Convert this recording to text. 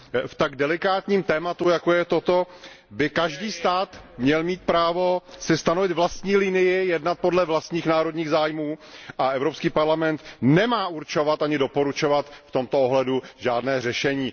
V tak delikátním tématu, jako je toto, by každý stát měl mít právo si stanovit vlastní linii, jednat podle vlastních národních zájmů a Evropský parlament nemá určovat ani doporučovat v tomto ohledu žádné řešení.